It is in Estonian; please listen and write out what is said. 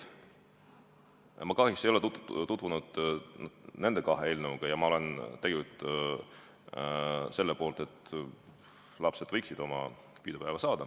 Ma kahjuks ei ole tutvunud nende kahe eelnõuga ja ma olen tegelikult selle poolt, et lapsed võiksid oma pidupäeva saada.